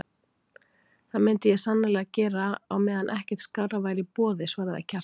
Það myndi ég sannarlega gera á meðan ekkert skárra væri í boði, svaraði Kjartan.